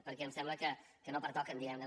perquè em sembla que no pertoquen diguem ne